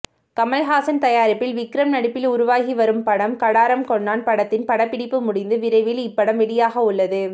கமல்ஹாசன் தயாரிப்பில் விக்ரம் நடிப்பில் உருவாகி வரும் படம் கடாரம் கொண்டான் படத்தின் படப்பிடிப்பு முடிந்து விரைவில் இப்படம் வெளியாகவுள்லது